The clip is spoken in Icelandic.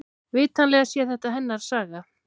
Vitanlega sé þetta hennar saga.